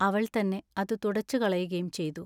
അവൾ തന്നെ അതു തുടച്ചുകളകയും ചെയ്തു.